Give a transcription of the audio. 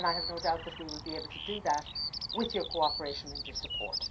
I have no doubt that we will be able to do that with your cooperation and your support.